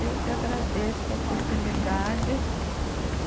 Eu que agradeço a oportunidade. É